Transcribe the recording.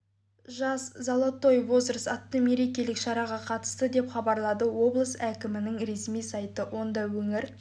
жас золотой возраст атты мерекелік шараға қатысты деп хабарлады облыс әкімінің ресми сайты онда өңір